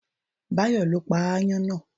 Báyọ̀ ló pa ááyán náà